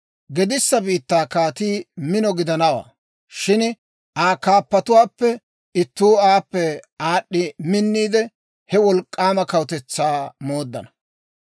«Gedissa biittaa kaatii mino gidanawaa; shin Aa kaappatuwaappe ittuu aappe aad'd'i minniide, he wolk'k'aama kawutetsaa mooddana.